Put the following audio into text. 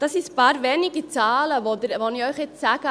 Das sind ein paar wenige Zahlen, die ich Ihnen jetzt sage.